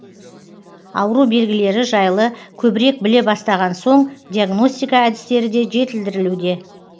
ауру белгілері жайлы көбірек біле бастаған соң диагностика әдістері де жетілдірілуде